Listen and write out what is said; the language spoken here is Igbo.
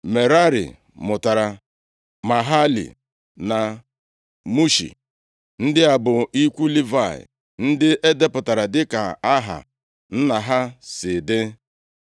Merari mụtara Mahali na Mushi. Ndị a bụ ikwu Livayị ndị e depụtara dịka aha nna ha si dị.